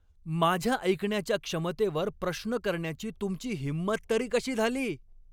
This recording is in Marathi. माझ्या ऐकण्याच्या क्षमतेवर प्रश्न करण्याची तुमची हिंमत तरी कशी झाली?